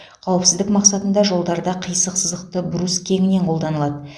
қауіпсіздік мақсатында жолдарда қисық сызықты брус кеңінен қолданылады